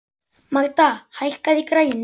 Magda, hækkaðu í græjunum.